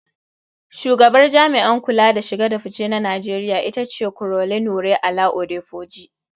Shugabar Jami'an kula da shige da fice na Najeriya ita ce Caroline Wura-Ola Adepoju.